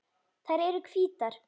Þær eru hvítar.